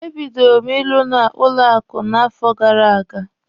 E bidoro m ịrụ na banki n'afọ gara aga.